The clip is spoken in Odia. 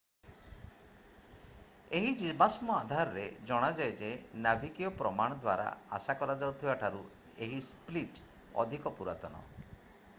ଏହି ଜୀବାଶ୍ମ ଆଧାରରେ ଜଣାଯାଏ ଯେ ନାଭିକୀୟ ପ୍ରମାଣ ଦ୍ୱାରା ଆଶା କରାଯାଉଥିବା ଠାରୁ ଏହି ସ୍ପ୍ଲିଟ୍ ଅଧିକ ପୁରାତନ